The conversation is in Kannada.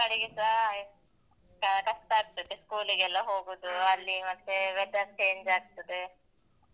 ಈಗ ಮಕ್ಕಳಿಗೆಸ ಅಹ್ ಕಷ್ಟ ಆಗ್ತದೆ, school ಗೆಲ್ಲ ಹೋಗುದು ಅಲ್ಲಿ ಮತ್ತೆ weather change ಆಗ್ತದೆ.